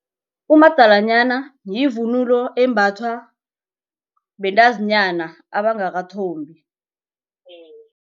Umadalanyana yivunulo embathwa bentazinyana abangakathombi.